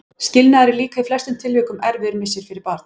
Skilnaður er líka í flestum tilvikum erfiður missir fyrir barn.